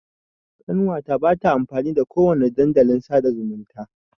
Ƙanwa ta ba ta amfani da ko wani dandalin sa'da zumunta.